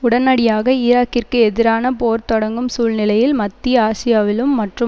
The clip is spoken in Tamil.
உடனடியாக ஈராக்கிற்கு எதிரான போர் தொடங்கும் சூழ்நிலையில் மத்திய ஆசியாவிலும் மற்றும்